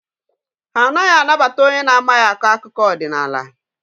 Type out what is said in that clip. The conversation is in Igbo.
Ha anaghị anabata onye na-amaghị akọ akụkọ ọdịnaala.